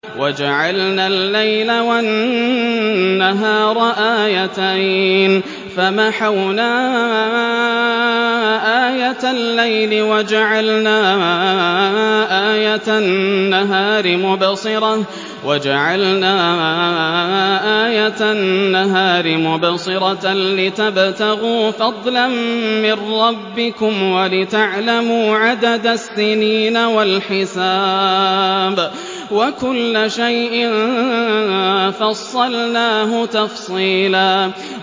وَجَعَلْنَا اللَّيْلَ وَالنَّهَارَ آيَتَيْنِ ۖ فَمَحَوْنَا آيَةَ اللَّيْلِ وَجَعَلْنَا آيَةَ النَّهَارِ مُبْصِرَةً لِّتَبْتَغُوا فَضْلًا مِّن رَّبِّكُمْ وَلِتَعْلَمُوا عَدَدَ السِّنِينَ وَالْحِسَابَ ۚ وَكُلَّ شَيْءٍ فَصَّلْنَاهُ تَفْصِيلًا